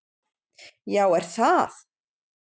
Já, er það!